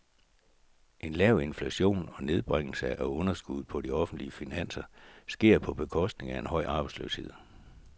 En lav inflation og nedbringelse af underskuddet på de offentlige finanser sker på bekostning af en høj arbejdsløshed.